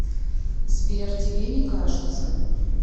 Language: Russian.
сбер тебе не кажется